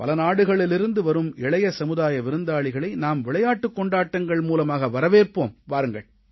பல நாடுகளிலிருந்து வரும் இளைய சமுதாய விருந்தாளிகளை நாம் விளையாட்டுக் கொண்டாட்டங்கள் மூலமாக வரவேற்போம் வாருங்கள்